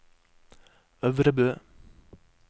Øvrebø